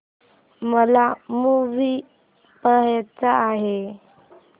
मला मूवी पहायचा आहे